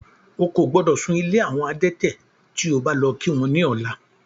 Ó kò gbọ́dọ̀ sún ilé àwọn adẹ́tẹ̀ tí o bá lọ kí wọ́n ní ọ̀la.